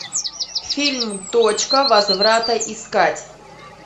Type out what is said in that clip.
фильм точка возврата искать